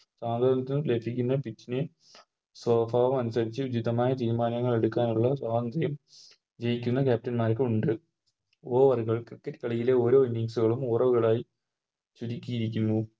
ന്ന Pitch നെ അനുസരിച്ച് മിതമായ തീരുമാനങ്ങളെടുക്കാനുള്ള സ്വാതന്ത്രം ജയിക്കുന്ന Captain മാർക്കുണ്ട് Over കൾ Cricket കളിയിലെ ഓരോ Innings കളും ഓരോ Over കളായി ചുരുക്കിയിരിക്കുന്നു